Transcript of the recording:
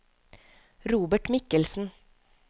Robert Michelsen